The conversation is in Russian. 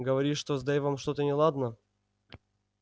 говоришь что с дейвом что-то неладно